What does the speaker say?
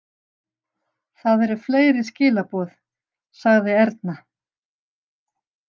Það eru fleiri skilaboð, sagði Erna.